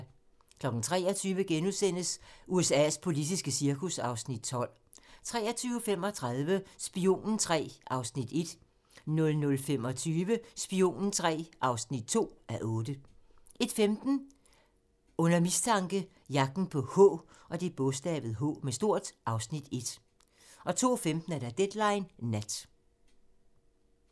23:00: USA's politiske cirkus (Afs. 12)* 23:35: Spionen III (1:8) 00:25: Spionen III (2:8) 01:15: Under mistanke - Jagten på "H" (Afs. 1) 02:15: Deadline Nat (man)